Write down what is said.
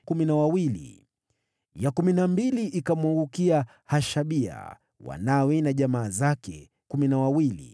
ya kumi na mbili ikamwangukia Hashabia, wanawe na jamaa zake, 12